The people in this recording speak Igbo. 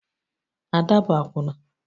Ada bụ akwụna